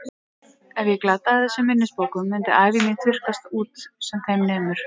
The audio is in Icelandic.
Ef ég glataði þessum minnisbókum myndi ævi mín þurrkast út sem þeim nemur.